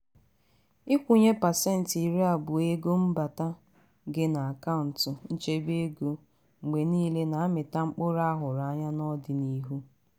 ikwunye pasenti iri abụọ ego mbata gị n'akaụntu nchebe ego mgbe niile na-amita mkpụrụ ahụrụ anya n'ọdịnihu.